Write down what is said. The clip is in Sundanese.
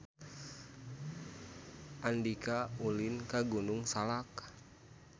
Andika ulin ka Gunung Salak